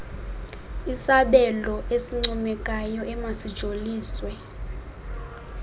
isabelo esincomekayo emasijoliswe